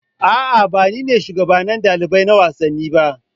A'a ba ni ne shugaban ɗalibai na wasanni ba